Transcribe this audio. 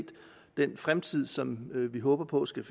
den fremtid som vi håber på skal